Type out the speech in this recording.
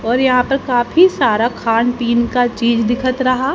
और यहां पर काफी सारा खान पीन का चीज दिखत रहा--